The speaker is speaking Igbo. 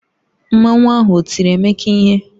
Mmanwu ahụ o tiri Emeka ihe?